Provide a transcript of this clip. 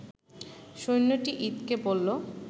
সৈন্যটি ইদকে বললো